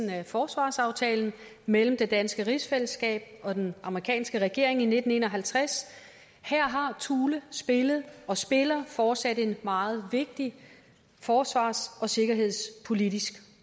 af forsvarsaftalen mellem det danske rigsfællesskab og den amerikanske regering i nitten en og halvtreds her har thule spillet og spiller fortsat en meget vigtig forsvars og sikkerhedspolitisk